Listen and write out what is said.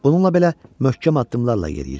Bununla belə möhkəm addımlarla yeriyirdi.